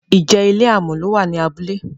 ìje ilé amò ló wà ní abúlé?